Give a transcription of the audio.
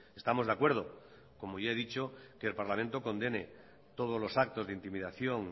estamos de acuerdo como ya he dicho que el parlamento condene todos los actos de intimidación